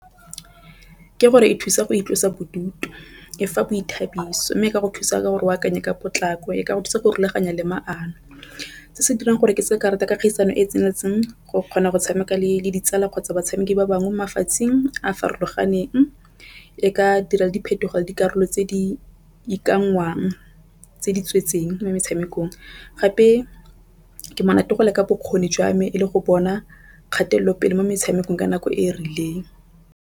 Ke gore e thusa go itlosa bodutu e fa boithabiso, mme ka go thusa gore o akanye ka potlako e ka go thusa go rulaganya le mano. Se se dirang gore ke se karata ka kgaisano e e tseneletseng go kgona go tshameka le ditsala kgotsa batshameki ba bangwe mafatsheng a a farologaneng. E ka dira diphetogo dikarolo tse di ikanngwang tse di tsweletseng mo metshamekong gape ke monate go leka bokgoni jwa me e le go bona kgatelopele mo metshamekong ka nako e rileng.